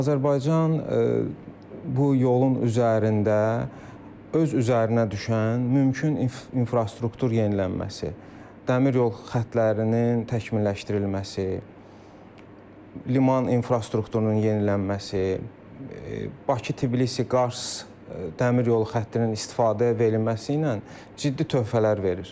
Azərbaycan bu yolun üzərində öz üzərinə düşən mümkün infrastruktur yenilənməsi, dəmir yol xətlərinin təkmilləşdirilməsi, liman infrastrukturunun yenilənməsi, Bakı-Tbilisi-Qars dəmir yolu xəttinin istifadəyə verilməsi ilə ciddi töhfələr verir.